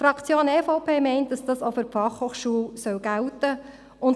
Die Fraktion der EVP meint, dass das auch für die BFH gelten muss.